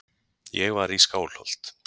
Ég var í Skálholt.